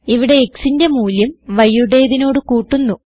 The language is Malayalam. ഇവിടെ xന്റെ മൂല്യം yയുടെതിനോട് കൂട്ടുന്നു